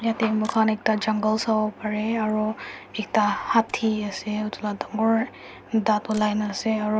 tse moi khan ekta jungle savo lae parae aru ekta hati ase etu laga dangor dat olai na ase aru.